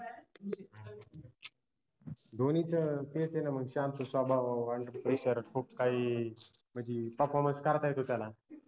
धोनीचं तेच ए न म शांत स्वभाव खूप काई म्हनजी performance करता येतो त्याला